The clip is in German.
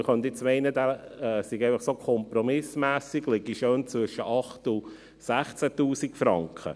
Man könnte jetzt denken, dieser liege einfach so schön kompromissmässig zwischen 8000 Franken und 16 000 Franken.